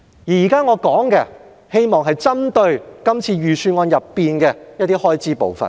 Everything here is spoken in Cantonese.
我現在談的是希望針對今年預算案的一些開支部分。